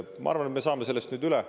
Ma arvan, et me saame sellest nüüd üle.